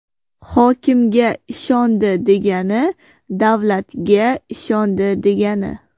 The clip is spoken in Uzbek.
Hokimga ishondi degani – davlatga ishondi, degani.